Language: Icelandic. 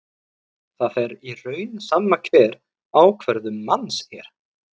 Það er í raun sama hver ákvörðun manns er.